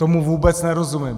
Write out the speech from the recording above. Tomu vůbec nerozumím!